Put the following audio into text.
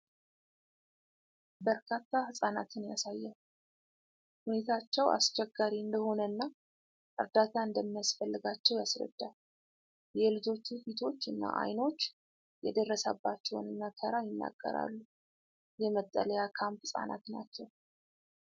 በርካታ ሕፃናትን ያሳያል፤ ሁኔታቸው አስቸጋሪ እንደሆነና እርዳታ እንደሚያስፈልጋቸው ያስረዳል። የልጆቹ ፊቶች እና ዐይኖች የደረሰባቸውን መከራ ይናገራሉ። የመጠለያ ካምፕ ህጻናት ናቸው፡፡